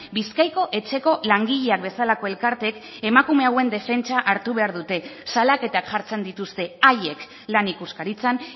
bizkaiko etxeko langileak bezalako elkarteek emakume hauen defentsa hartu behar dute salaketak jartzen dituzte haiek lan ikuskaritzan